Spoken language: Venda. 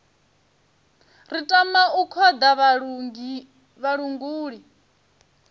ri tama u khoḓa vhalanguli